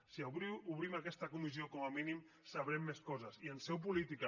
si obrim aquesta comissió com a mínim sabrem més coses i en seu política